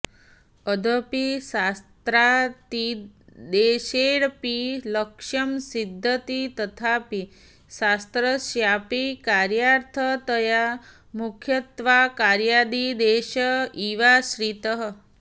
यद्यपि शास्त्रातिदेशेऽपि लक्ष्यं सिध्यति तथापि शास्त्रस्यापि कार्यार्थतया मुख्यत्वात्कार्यातिदेश एवाश्रितः